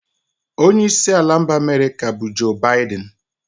Onye isi ala mba America bu Joe Biden